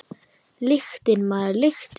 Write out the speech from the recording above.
Lyktin, maður, lyktin!